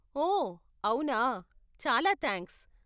ఓ, అవునా. చాలా థాంక్స్.